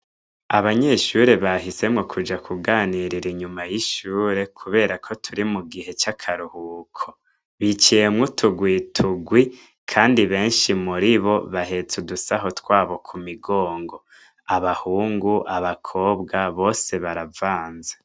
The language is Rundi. Abanyeshure bahisemwo kuja kuganirira inyuma y'ishure kuberako turi mugihe c'akaruhuko biciye mwo uturwi turwi kandi benshi muribo bahetse udusaho twabo mumigongo abahungu abakobwa bose baravanze.